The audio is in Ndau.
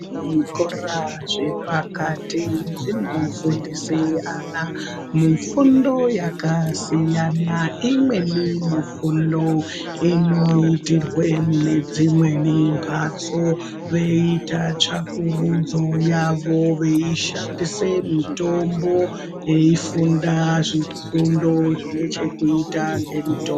Zvikora zvepakati zvinofundise ana mifundo yakasiyanaa, imweni mifundoo inoitirwee mune dzimweni mbatso veiita tsvakurudzo yavo veishandise mitombo, veifunda zvifundo zvine chekuita ngemitombo.